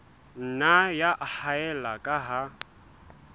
nna ya haella ka ha